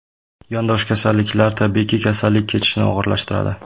Yondosh kasalliklar, tabiiyki, kasallik kechishini og‘irlashtiradi.